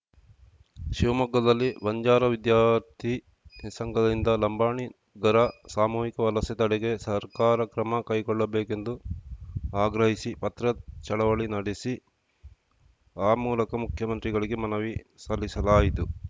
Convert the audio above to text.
ಶಿವಮೊಗ್ಗದಲ್ಲಿ ಬಂಜಾರ ವಿದ್ಯಾರ್ಥಿ ಸಂಘದಿಂದ ಲಂಬಾಣಿಗರ ಸಾಮೂಹಿಕ ವಲಸೆ ತಡೆಗೆ ಸರ್ಕಾರ ಕ್ರಮ ಕೈಗೊಳ್ಳಬೇಕೆಂದು ಆಗ್ರಹಿಸಿ ಪತ್ರ ಚಳವಳಿ ನಡೆಸಿ ಆ ಮೂಲಕ ಮುಖ್ಯಮಂತ್ರಿಗಳಿಗೆ ಮನವಿ ಸಲ್ಲಿಸಲಾಯಿತು